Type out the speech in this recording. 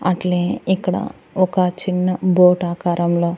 అట్లే ఇక్కడ ఒక చిన్న బోట్ ఆకారంలో--